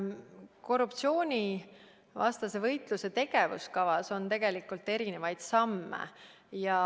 Korruptsioonivastase võitluse tegevuskavas on erinevaid samme.